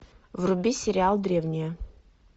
вруби сериал древние